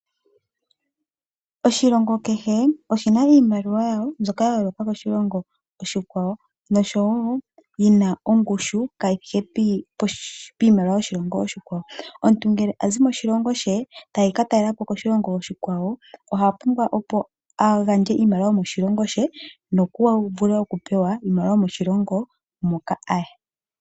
Oshilongo kehe oshi na iimaliwa yasho mbyoka ya yooloka koshilongo oshikwawo noshowo yi na ongushu kaayi thike piimaliwa yoshilongo oshikwawo. Omuntu ngele a zi moshilongo she ta ka talela po koshilongo oshikwawo oha pumbwa, opo a gandje iimaliwa yomoshilongo she ye a vule okupewa iimaliwa yomoshilongo moka a ya.